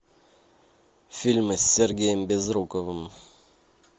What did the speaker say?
фильмы с сергеем безруковым